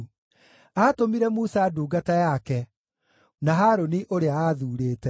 Aatũmire Musa ndungata yake, na Harũni, ũrĩa aathurĩte.